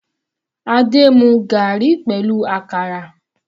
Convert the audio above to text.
Adé mu garri pẹ̀lú àkàrà.